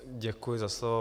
Děkuji za slovo.